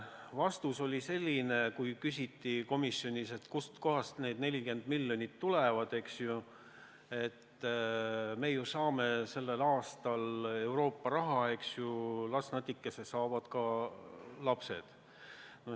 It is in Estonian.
Kui komisjonis küsiti, kust kohast need 40 miljonit tulevad, siis oli vastus, et me ju saame sellel aastal Euroopa Liidu raha, las natikese saavad ka lapsed.